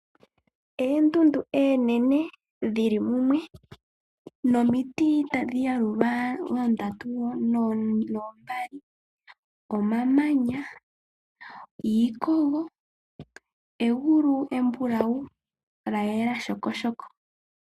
Oondundu oonene dhi li mumwe nomiti tadhi yalulwa oondatu noombali. Omamanya, iikogo, egulu embulau lya yela shekesheke.